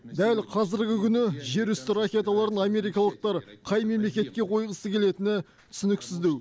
дәл қазіргі күні жерүсті ракеталарын америкалықтар қай мемлекетке қойғысы келетіні түсініксіздеу